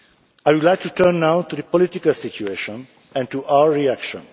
I would like to turn now to the political situation and to our reaction.